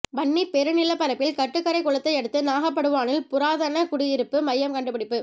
வன்னிப் பெருநிலப்பரப்பில் கட்டுக்கரைக் குளத்தை அடுத்து நாகபடுவானில் புராதன குடியிருப்பு மையம் கண்டு பிடிப்பு